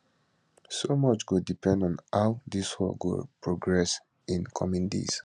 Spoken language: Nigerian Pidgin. so much go depend on how dis war go progress in coming days